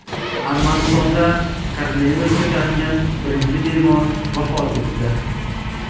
Armanistonda koronavirusga chalingan birinchi bemor vafot etdi.